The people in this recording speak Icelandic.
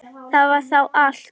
Það var þá allt.